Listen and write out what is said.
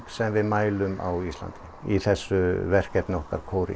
sem við mælum á Íslandi í þessu verkefni okkar